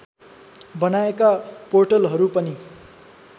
बनाएका पोर्टलहरू पनि